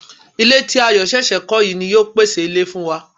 Ilé ti Ayọ̀ ṣẹ̀ṣẹ̀ kọ́ yìí ni yóò pèsè ilé fún wa